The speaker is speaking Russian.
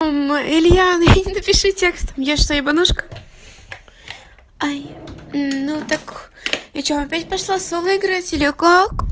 он илья напиши текст я что ебанушка ай ну так при чём опять пошла в соло играть или как